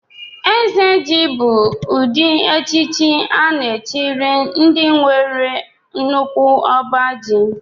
Eze ji bú echichi a na-echikari ndị nwere nnukwu ọbá ji.